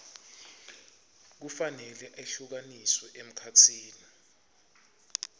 kufanele ehlukaniswe emkhatsini